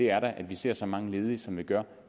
er at vi ser så mange ledige som vi gør